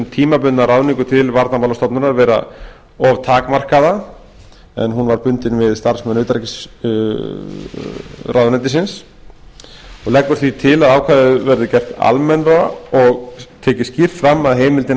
tímabundna ráðningu til varnarmálastofnunar vera of takmarkaða en hún var bundin við starfsmenn utanríkisráðuneytisins og leggur því til að ákvæðið verði gert almennra og tekið skýrt fram að heimildin